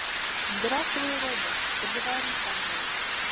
здравствуй робот поговори со мной